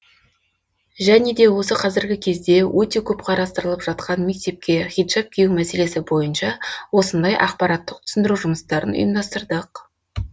және де осы қазіргі кезде өте көп қарастырылып жатқан мектепке хиджаб кию мәселесі бойынша осындай ақпараттық түсіндіру жұмыстарын ұйымдастырдық